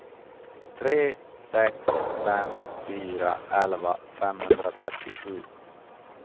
tre sex fem fyra elva femhundratrettiosju